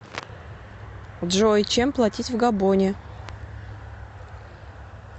джой чем платить в габоне